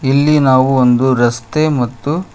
ಇಲ್ಲಿ ನಾವು ಒಂದು ರಸ್ತೆ ಮತ್ತು--